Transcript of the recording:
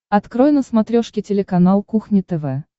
открой на смотрешке телеканал кухня тв